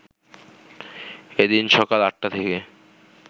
এদিন সকাল ৮টা থেকে